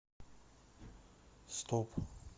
стоп